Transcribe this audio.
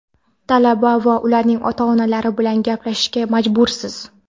Talaba va ularning ota-onalari bilan gaplashishga majbursiz.